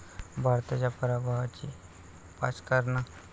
भारताच्या पराभवाची पाच कारणं